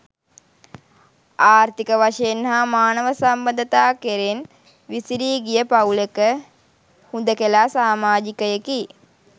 ආර්ථික වශයෙන් හා මානව සම්බන්ධතා කෙරෙන් විසිරී ගිය පවුලක හුදෙකලා සාමාජිකයෙකි.